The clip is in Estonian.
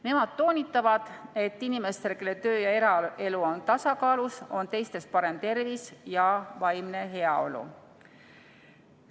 Nemad toonitavad, et inimestel, kelle töö- ja eraelu on tasakaalus, on teistest parem tervis ja vaimne heaolu.